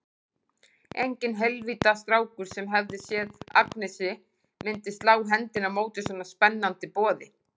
Enginn heilvita strákur, sem hefði séð Agnesi, myndi slá hendinni á móti svona spennandi boði.